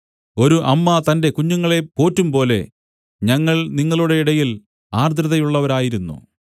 ഒരു അമ്മ തന്റെ കുഞ്ഞുങ്ങളെ പോറ്റുംപോലെ ഞങ്ങൾ നിങ്ങളുടെ ഇടയിൽ ആർദ്രതയുള്ളവരായിരുന്നു